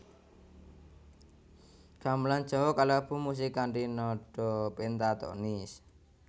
Gamelan Jawa kalebu musik kanthi nada pentatonis